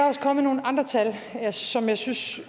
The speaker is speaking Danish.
også kommet nogle andre tal som jeg synes